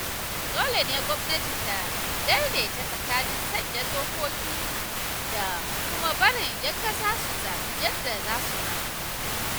Dole ne gwamnati ta daidaita tsakanin sanya dokoki da kuma barin ‘yan kasa su zaɓi yadda za su rayu.